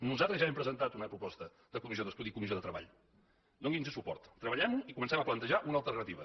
nosaltres ja hem presentat una proposta de comissió d’estudi i comissió de treball doni’ns suport treballem ho i comencem a plantejar una alternativa